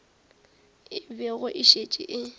e bego e šetše e